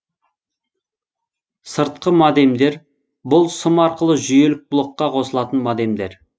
сыртқы модемдер бұл сым арқылы жүйелік блокқа қосылатын модемдер